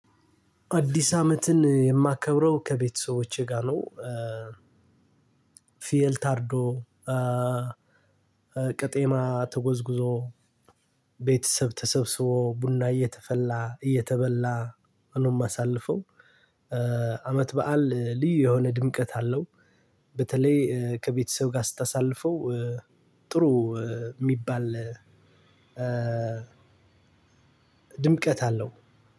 አዲስ አመትን የማከብረው ከቤተሰቦቼ ጋር ነው። ፍየል ታርዶ ቅጤማ ተጎዝጉዞ ቤተሰብ ተሰብስቦ ቡና እየተፈላ እየተበላ ነው የማሳልፈው። አመት በዓል ልዩ የሆነ ድምቀት አለው። በተለይ ከቤተሰብ ጋር ስታሳልፈው ጥሩ የሚባል። ድምቀት አለው።